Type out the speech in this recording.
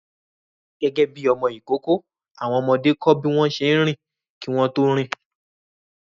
Gẹ́gẹ́ bí ọmọ ìkókó, àwọn ọmọdé kọ́ bí wọ́n ṣe ń rìn kí wọ́n tó rìn